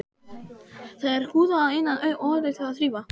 Það er húðað að innan og auðvelt að þrífa.